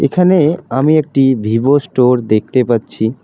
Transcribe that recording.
এখানে আমি একটি ভিভো স্টোর দেখতে পাচ্ছি।